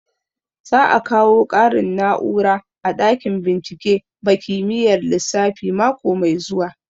Za a kawo ƙarin na'ura a ɗakin bincike ba kimiyyar lissafi mako mai zuwa